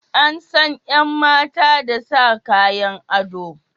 An san yan mata da sa Kayan ado.